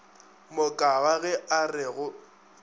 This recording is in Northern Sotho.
mokaba ge a re go